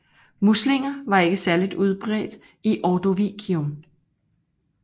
Muslinger var ikke særlig udbredt i Ordovicium